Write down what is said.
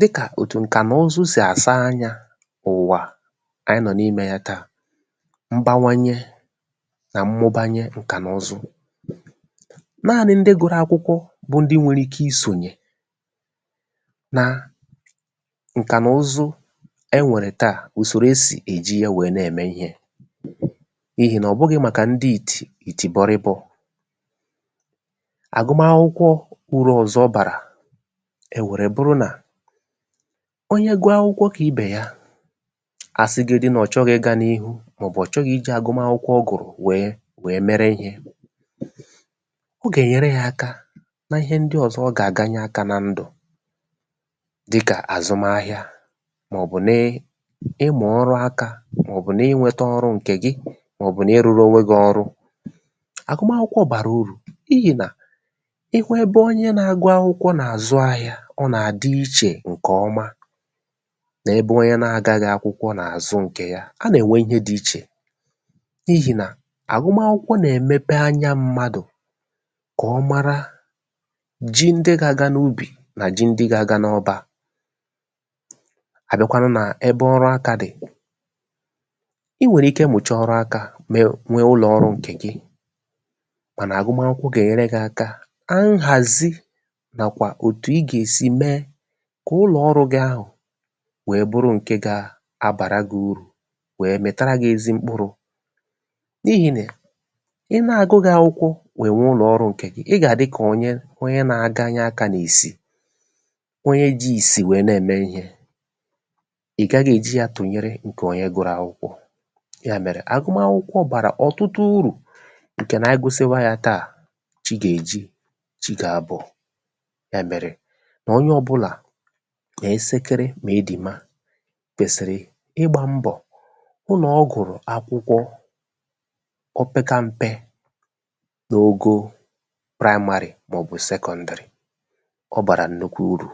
dịkà ṅ̀kà nà ụzụ sì àsa anyā ụ̀wà kè àyị nọ̀ n’imē ya taà mbawanye nà mmụbanye ṅ̀kà nà ụzụ naānị̄ ndị gụ̄rụ̄ akwụkwọ bụ ndị nwere ike isònyè na ṅ̀kà nà ụzụ e nwèrè taà ùsòrò e sì èji yā wèe na-ème ihē n’ihì nà ọ̀ bụghị̄ màkà ndị ìtì ìtì bọrɪ̣bọ̄ àgụmakwụkwọ urū ọ̀zọ ọ bàrà èwère bụrụ nà onye gụọ akwụkwọ kà ibè ya a sịgodu nà ọ̀ chọghị̄ ịgā n’ihu màọ̀bụ̀ ọ̀ chọghị ijī agụmakwụkwọ ọ gụ̀rụ̀ wèe wèe mere ihē ọ gà-enyere yā aka na ihe ndị ọ̀zọ ọ gà-àganye akā na ndụ̀ dịkà àzụmahịa màọ̀bụ̀ ni ịmụ̀ ọrụ akā màọ̀bụ̀ n’inwētē ọrụ ṅ̀kè gị màọ̀bụ̀ n’ịrụ̄rụ̄ ònwe gị̄ ọrụ àgụm akwụkwọ bàrà urù n’ihì nà ị hụ ebe onye na-agụ akwụkwọ nà-àzụ ahịā ọ nà-àdị ichè ṅ̀kè ọma nà ebe onye na-agaghị̄ akwụkwọ nà-àzụ ṅ̀kè ya a nà ènwe ihe dị ichè n’ihì nà àgụm akwụkwọ nà-èmepe anya mmadụ kà ọ mara ji ndị gā-āgā n’ubì nà ji ndị gā-āgā n’ọbā a biakwanụ nà ebe ọrụ akā dị̀ I nwèrè ike mụ̀chaa ọrụ akā me nwee ụlọ̀ ọrū̩ ṅ̀kè gị mànà àgụm akwụkwọ gà-ènyere gị̄ aka kà nhàzi nàkwà òtù i gà-èsi mee kà ụlọ̀ ọrụ gị̄ ahụ̀ wèe bụrụ ṅ̀ke gā abàra gị urù wèe mị̀tara gị̄ ezi mkpụrụ̄ n’ihì nị̀à ị na-àgụgị̄ ākwụ̄kwọ̄ wèe nwee ụlọ̀ ọrụ̄ ṅ̀kè gị ị gà-àdị kà onye nā-aganye akā n’ìsì onye jī ìsì wèe na-ème ihē ị̀ gaghị̄ èji ya tụ̀nyere ṅ̀kè onye gụ̄rụ̄ akwụkwọ ya mèrè àgụm akwụkwọ bàrà ọ̀tụtụ urù ṅ̀kè nà a gụsiwa yā taà chi gà—èji chi gà-abọ̀ ya mèrè kà onye ọbụ̄là kòo esekere ma ịdìma kwèsị̣̀rị̀ ịgbā mbọ̀ hụ̀ nà ọ gụ̀rụ̀ akwụkwọ o peka m̄pē n’ogo praịmarị̀ màọ̀bụ sekọ̄ṇdị̀rị̀ ọ bàrà nnukwu urù